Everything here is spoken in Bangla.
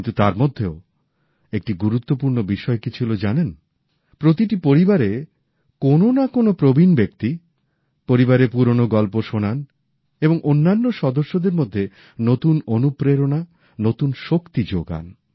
কিন্তু তার মধ্যেও একটি গুরুত্বপূর্ণ বিষয় কী ছিল জানেন প্রতিটি পরিবারে কোনো না কোনও প্রবীণ ব্যক্তি পরিবারের পুরোনো গল্প শোনান এবং অন্যান্য সদস্যদের মধ্যে নতুন অনুপ্রেরণা নতুন শক্তি যোগান